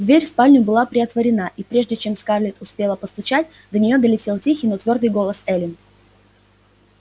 дверь в спальню была приотворена и прежде чем скарлетт успела постучать до неё долетел тихий но твёрдый голос эллино